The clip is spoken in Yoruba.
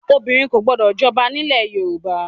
Obìnrin kò gbọdọ̀ jọba nílẹ̀ ẹ Yorùbá!